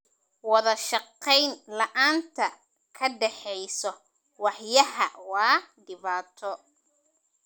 Wadashaqeyn la'aanta ka dhexeysa waaxyaha waa dhibaato.